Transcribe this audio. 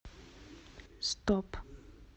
стоп